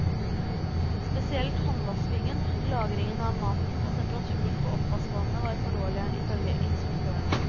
Spesielt håndvaskingen, lagringen av maten og temperaturen på oppvaskvannet var for dårlig, ifølge inspektørene.